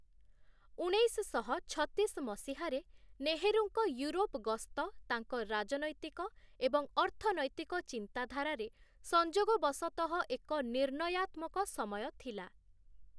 ଉଣେଇଶଶହ ଛତିଶ ମସିହାରେ, ନେହେରୁଙ୍କ ୟୁରୋପ ଗସ୍ତ ତାଙ୍କ ରାଜନୈତିକ ଏବଂ ଅର୍ଥନୈତିକ ଚିନ୍ତାଧାରାରେ ସଂଯୋଗବଶତଃ ଏକ ନିର୍ଣ୍ଣୟାତ୍ମକ ସମୟ ଥିଲା ।